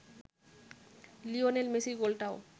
Lionel মেসির গোলটাও